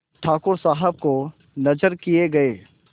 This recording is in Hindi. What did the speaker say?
ठाकुर साहब को नजर किये गये